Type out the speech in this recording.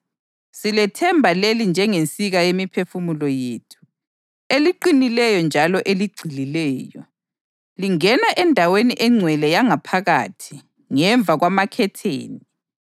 Silethemba leli njengensika yemiphefumulo yethu, eliqinileyo njalo eligxilileyo. Lingena endaweni engcwele yangaphakathi ngemva kwamakhetheni